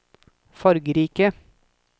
fargerike